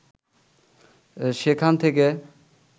সেখান থেকে